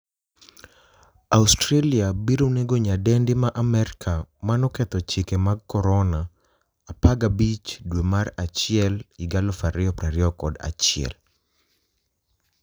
Australia biro nego nyadendi ma Amerka manoketho chike mag Corona' 15 dwe mar achiel 2021